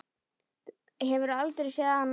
Hefur aldrei séð hann áður.